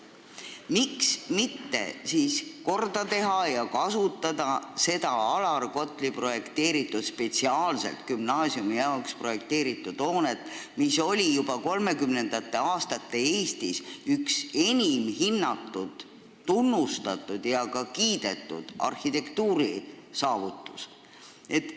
Miks mitte siis korda teha ja kasutada seda Alar Kotli spetsiaalselt gümnaasiumi jaoks projekteeritud hoonet, mis oli juba 1930-ndate Eestis üks enim hinnatud, tunnustatud ja ka kiidetud arhitektuurisaavutusi?